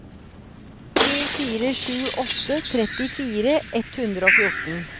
to fire sju åtte trettifire ett hundre og fjorten